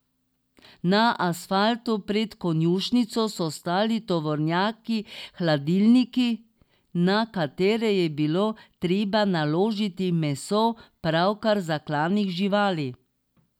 Na asfaltu pred konjušnico so stali tovornjaki hladilniki, na katere je bilo treba naložiti meso pravkar zaklanih živali.